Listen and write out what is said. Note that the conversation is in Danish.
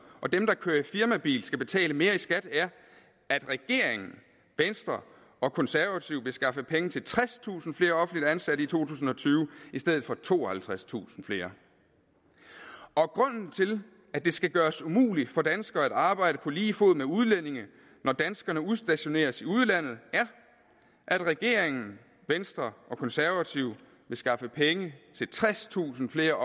og dem der kører i firmabil skal betale mere i skat er at regeringen venstre og konservative vil skaffe penge til tredstusind flere offentligt ansatte i to tusind og tyve i stedet for tooghalvtredstusind flere og grunden til at det skal gøres umuligt for danskere at arbejde på lige fod med udlændinge når danskerne udstationeres i udlandet er at regeringen venstre og konservative vil skaffe penge til tredstusind flere